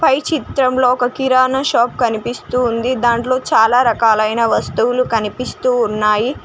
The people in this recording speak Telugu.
ఈ చిత్రంలో ఒక కిరాణా షాప్ కనిపిస్తుంది దాంట్లో చాలా రకాలైన వస్తువులు కనిపిస్తూ ఉన్నాయి.